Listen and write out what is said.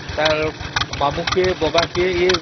ତାର ମାମୁଁ କିଏ ଦାଦା କିଏ